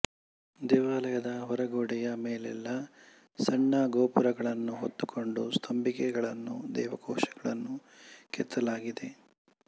ದೇವಾಲಯದ ಹೊರ ಗೋಡೆಯ ಮೇಲೆಲ್ಲ ಸಣ್ಣ ಗೋಪುರಗಳನ್ನು ಹೊತ್ತುಕೊಂಡ ಸ್ತಂಭಿಕೆಗಳನ್ನೂ ದೇವಕೋಷ್ಠಗಳನ್ನೂ ಕೆತ್ತಲಾಗಿದೆ